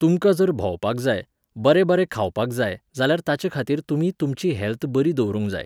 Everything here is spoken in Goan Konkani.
तुमकां जर भोंवपाक जाय, बरें बरें खावपाक जाय जाल्यार ताचेखातीर तुमी तुमची हॅल्थ बरी दवरूंक जाय.